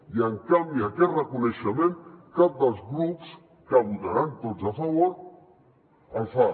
i en canvi aquest reconeixement cap dels grups que votaran tots a favor el fa